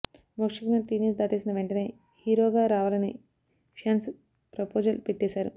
Mokshagna teenage దాటేసిన వెంటనే హీరోగా రావాలని ఫ్యాన్స్ ప్రపోజల్ పెట్టేశారు